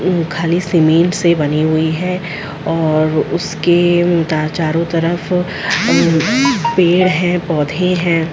खाली सीमेंट से बनी हुई है और उसके उतार चारों तरफ पेड़ है पौधे है।